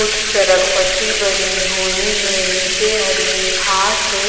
उच सरक पट्टी बनी हुई हैं नीचे हरी घास है।